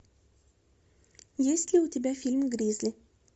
есть ли у тебя фильм гризли